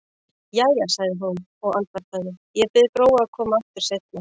Jæja, sagði hún og andvarpaði, ég bið Gróu að koma aftur seinna.